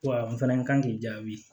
Wa n fana kan k'i jaabi